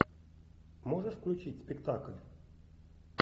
можешь включить спектакль